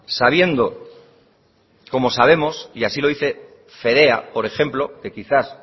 sabiendo como sabemos y así lo dice fedea por ejemplo que quizás